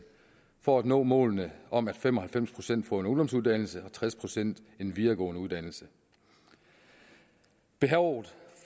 for at nå målene om at fem og halvfems procent får en ungdomsuddannelse og tres procent en videregående uddannelse behovet